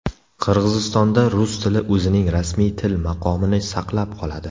Qirg‘izistonda rus tili o‘zining rasmiy til maqomini saqlab qoladi.